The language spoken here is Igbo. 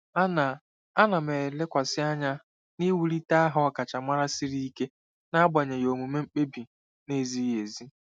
Ana Ana m elekwasị anya n'iwulite aha ọkachamara siri ike n'agbanyeghị omume mkpebi na-ezighị ezi.